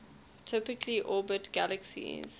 typically orbit galaxies